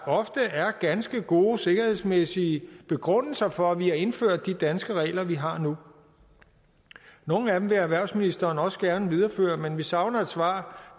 ofte er ganske gode sikkerhedsmæssige begrundelser for at vi har indført de danske regler vi har nu nogle af dem vil erhvervsministeren også gerne videreføre men vi savner et svar